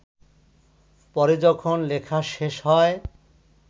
পরে যখন লেখা শেষ হয়